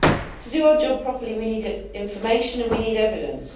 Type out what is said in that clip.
To do our job properly we need information and we need evidence.